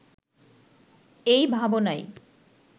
এ ভাবনাই